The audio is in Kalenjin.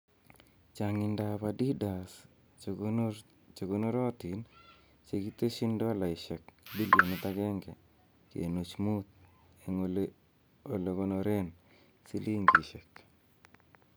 chang'indab Adidas che konorotin chegiteshi dolaisiek bilionit agenge kenuch mut en olegonoren silingishek